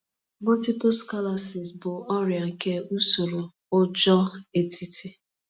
Multiple sclerosis bụ ọrịa nke usoro ụjọ etiti.